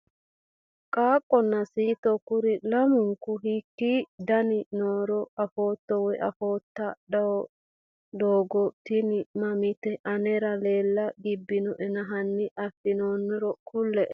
Qaaqonna siito kuri lamunku hiikini daani nooro afooto woyi afoota doogono tini mamaati anera lela gibbe nooena hani afinooniri kule`e?